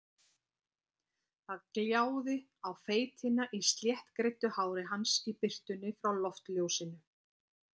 Það gljáði á feitina í sléttgreiddu hári hans í birtunni frá loftljósinu.